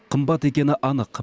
қымбат екені анық